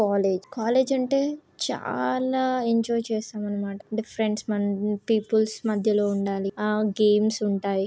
College college అంటేచాల enjoy చేస్తాం అనమాట డిఫెన్స్ పీపుల్స్ మధ్యలో ఉండాలి. ఆ గేమ్స్ ఉంటాయ్ .